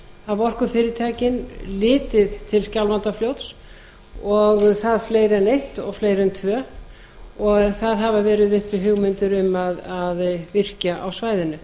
hafa orkufyrirtækin litið til skjálfandafljóts og það fleiri en eitt og fleiri en tvö og það hafa verið uppi hugmyndir um að virkja á svæðinu